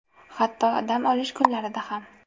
Hatto dam olish kunlarida ham.